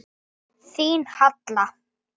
Þín Halla.